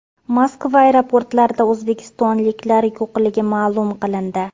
Moskva aeroportlarida o‘zbekistonliklar yo‘qligi ma’lum qilindi.